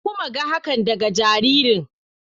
Na kuma ga hakan daga jaririn.